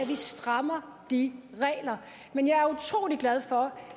vi strammer de regler men jeg er utrolig glad for